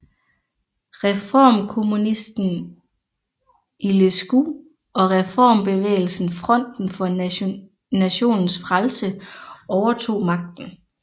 Reformkommunisten Iliescu og reformbevægelsen Fronten for nationens frelse overtog magten